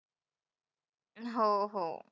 हो हो.